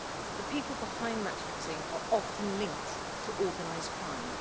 The people behind match fixing are often linked to organised crime.